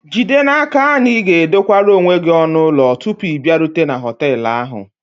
Jide n'aka na ị ga-edokwara onwe gị ọnụ ụlọ tupu ị bịarute na họtel ahụ